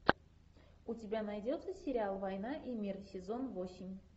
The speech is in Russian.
у тебя найдется сериал война и мир сезон восемь